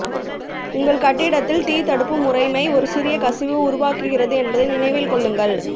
உங்கள் கட்டிடத்தில் தீ தடுப்பு முறைமை ஒரு சிறிய கசிவு உருவாகிறது என்பதை நினைவில் கொள்ளுங்கள்